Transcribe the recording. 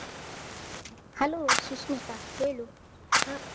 Hello Sushmita ಹೇಳು ಹ.